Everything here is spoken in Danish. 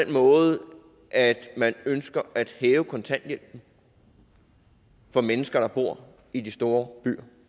måde at man ønsker at hæve kontanthjælpen for mennesker der bor i de store